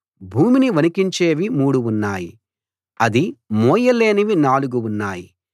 భూమిని వణకించేవి మూడు ఉన్నాయి అది మోయ లేనివి నాలుగు ఉన్నాయి